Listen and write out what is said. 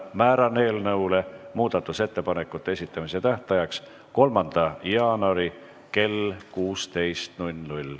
Määran eelnõu muudatusettepanekute esitamise tähtajaks 3. jaanuari kell 16.